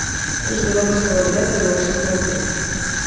курс белорусского рубля к белорусскому рублю